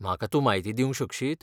म्हाका तूं म्हायती दिवंक शकशीत?